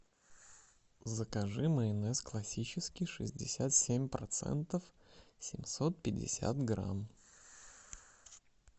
закажи майонез классический шестьдесят семь процентов семьсот пятьдесят грамм